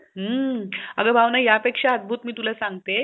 हम्म आग भावना ह्या पेक्षा मी अद्भुत मी तुला सागते.